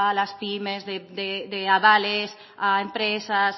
las pyme de avales a empresas